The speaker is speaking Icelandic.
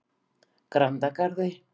Grandagarði